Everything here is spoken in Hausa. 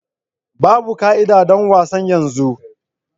Babu ka'ida don wasan yanzu.